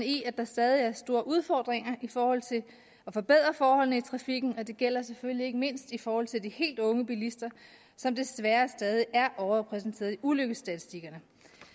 i at der stadig er store udfordringer i forhold til at forbedre forholdene i trafikken og det gælder selvfølgelig ikke mindst i forhold til de helt unge bilister som desværre stadig er overrepræsenteret i ulykkesstatistikkerne